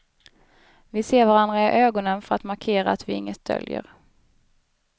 Vi ser varandra i ögonen för att markera att vi inget döljer.